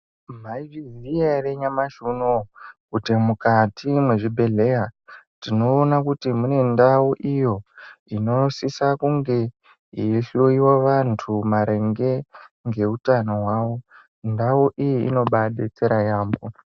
Maizviziya ere nyamashi unowu kuti mukati mwezvibhedhleya tiona kuti mune ndau iyo inosisa kunge yeihloyiwa vantu maringe ngeutano hwavo ndau iyi inobadetsera yampho.